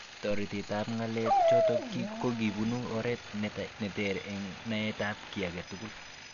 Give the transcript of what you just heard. Toretet ab ng'alek chotok kokibun oret neter eng naet ab ki age tugul.